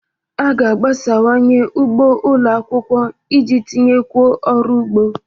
A ga-agbasawanye ugbo ụlọ akwụkwọ iji tinyekwuo ọrụ ugbo.